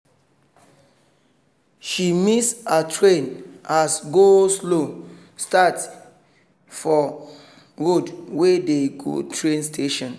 she miss her train as go-slow start for road wey dey go train station.